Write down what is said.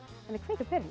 en að kveikja á perunni